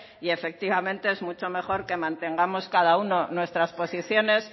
y efectivamente es mucho mejor que mantengamos cada uno nuestras posiciones